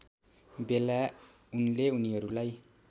बेला उनले उनीहरूलाई